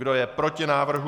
Kdo je proti návrhu?